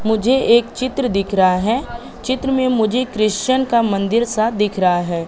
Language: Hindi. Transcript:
मुझे एक चित्र दिख रहा है चित्र में मुझे क्रिश्चियन का मंदिर सा दिख रहा है।